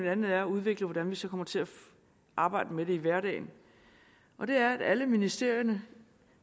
andet er at udvikle hvordan vi så kommer til at arbejde med det i hverdagen og det er at alle ministerierne